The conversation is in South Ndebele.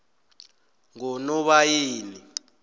ngonobayeni